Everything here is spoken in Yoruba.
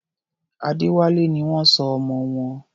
Adéwálé ni wọ́n sọ ọmọ wọn.